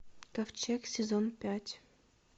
ковчег сезон пять